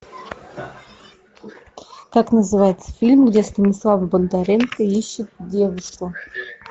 как называется фильм где станислав бондаренко ищет девушку